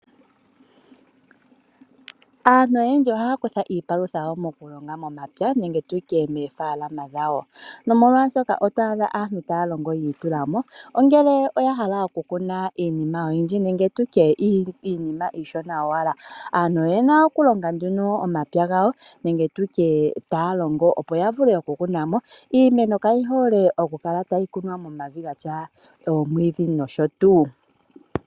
Aantu oyendji ohaya kutha iipalutha yawo mokulonga momapya nenge tu tye moofalama dhawo nomolwaashoka oto adha aantu taya longo yiitula mo, ongele oya hala okukuna iinima oyindji nenge iishona owala . Aantu oye na okulonga nduno omapya gawo nenge taya longo opo ya vule okukuna mo. Iimeno kayi hole okukala tayi kunwa momavi ga tya omwiidhi noshotuu.